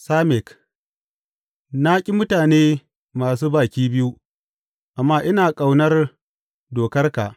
Samek Na ƙi mutane masu baki biyu, amma ina ƙauna dokarka.